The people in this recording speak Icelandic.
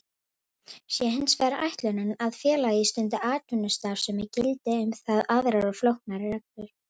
Sé hins vegar ætlunin að félag stundi atvinnustarfsemi gilda um það aðrar og flóknari reglur.